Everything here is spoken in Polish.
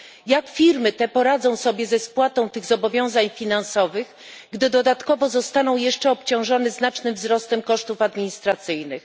Jak firmy te poradzą sobie ze spłatą tych zobowiązań finansowych, gdy dodatkowo zostaną jeszcze obciążone znacznym wzrostem kosztów administracyjnych?